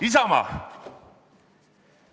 Isamaa.